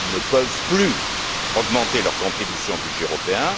ils ne peuvent plus augmenter leur contribution au budget européen.